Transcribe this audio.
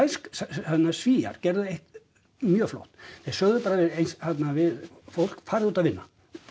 sko Svíar gerðu eitt mjög flott þeir sögðu bara við við fólk farið út að vinna